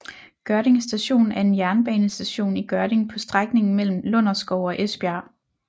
Gørding Station er en jernbanestation i Gørding på strækningen mellem Lunderskov og Esbjerg